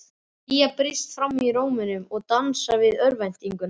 Hlýja brýst fram í rómnum og dansar við örvæntinguna.